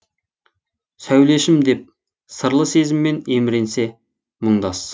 сәулешім деп сырлы сезіммен еміренсе мұңдас